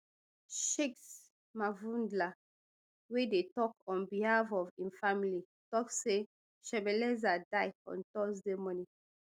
shakes mavundla wey dey tok on behalf of im family tok say shebeleza die on thursday morning